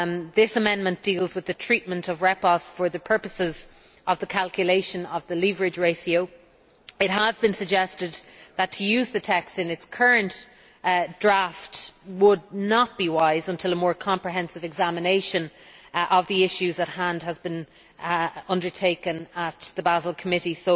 This amendment deals with the treatment of repos for the purposes of the calculation of the leverage ratio. It has been suggested that to use the text in its current draft form would not be wise until a more comprehensive examination of the issues at hand has been undertaken at the Basel Committee.